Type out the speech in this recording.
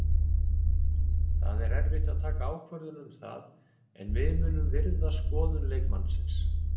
Það er erfitt að taka ákvörðun um það en við munum virða skoðun leikmannsins.